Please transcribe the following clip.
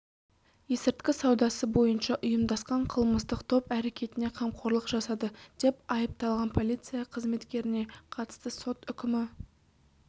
есірткі саудасы бойынша ұйымдасқан қылмыстық топ әрекетіне қамқорлық жасады деп айыпталған полиция қызметкеріне қатысты сот үкімі